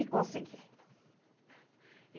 E consegui.